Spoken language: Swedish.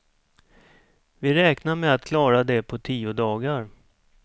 Vi räknar med att klara det på tio dagar.